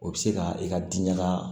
O bɛ se ka i ka diinɛ la